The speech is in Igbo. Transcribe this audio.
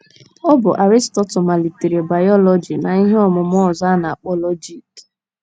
Ọ bụ Aristotle malitere bayọlọji na ihe ọmụmụ ọzọ a na - akpọ lọjik.